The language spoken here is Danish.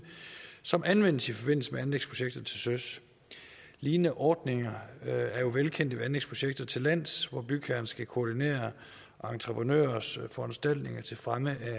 som anvendes i forbindelse med anlægsprojekter til søs lignende ordninger er jo velkendte ved anlægsprojekter til lands hvor bygherren skal koordinere entreprenørers foranstaltninger til fremme